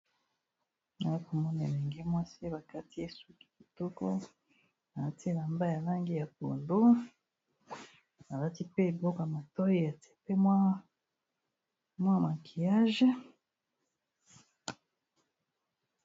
Awa nakomona elenge mwasi bakati ye suki kitoko alati elamba ya langi ya pondu alati pe eloka matoi atie pe mwa maquillage.